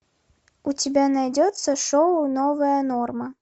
у тебя найдется шоу новая норма